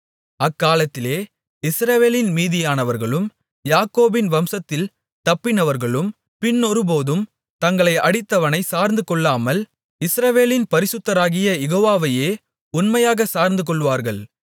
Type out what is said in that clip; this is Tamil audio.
அக்காலத்திலே இஸ்ரவேலின் மீதியானவர்களும் யாக்கோபின் வம்சத்தில் தப்பினவர்களும் பின்னொருபோதும் தங்களை அடித்தவனைச் சார்ந்துகொள்ளாமல் இஸ்ரவேலின் பரிசுத்தராகிய யெகோவாவையே உண்மையாகச் சார்ந்துகொள்வார்கள்